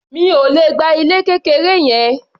Mi ò le gba ilé kékeré yẹn.